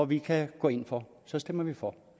vi kan gå ind for så stemmer vi for